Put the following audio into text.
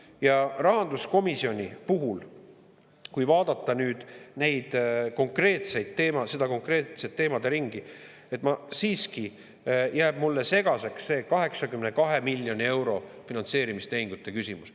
Ja rahanduskomisjoni puhul, kui vaadata nüüd seda konkreetset teemaderingi, siiski jääb mulle segaseks see 82 miljoni euro finantseerimistehingute küsimus.